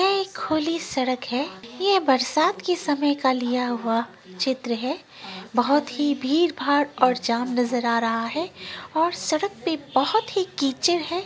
यह एक खुली सड़क है। यह बरसात के समय का लिया हुआ चित्र है। बहुत ही भीड़ - भाड़ और जाम नज़र आ रहा है और सड़क पे बहुत ही कीचड़ है।